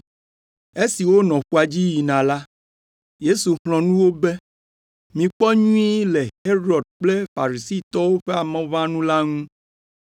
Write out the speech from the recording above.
Esi wonɔ ƒua dzi yina la, Yesu xlɔ̃ nu wo be, “Mikpɔ nyuie le Herod kple Farisitɔwo ƒe amɔʋãnu la ŋu.”